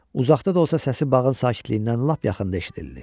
Uzaqda da olsa səsi bağın sakitliyindən lap yaxında eşidildi.